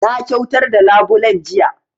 Na kyautar da labulen jiya